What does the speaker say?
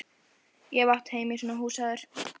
Ég hef átt heima í svona húsi áður.